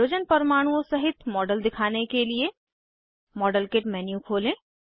hydrogen परमाणुओं सहित model दिखाने के लिए मॉडेलकिट मेन्यू खोलें